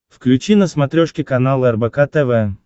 включи на смотрешке канал рбк тв